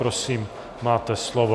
Prosím, máte slovo.